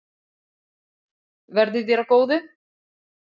Verði þér að góðu.